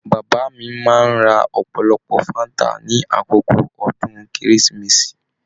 Bàbá mí máa n rá ọpọlọpọ fanta ní àkókò ọdún kérésìmesì.